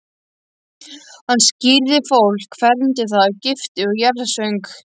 Hann skírði fólk, fermdi það, gifti og jarðsöng.